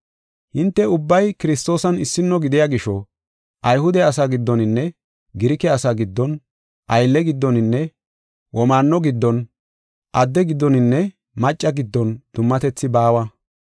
Hinte ubbay Kiristoosan issino gidiya gisho, Ayhude asaa giddoninne Girike asaa giddon, aylle giddoninne womaanno giddon, adde giddoninne maccasa giddon dummatethi baawa.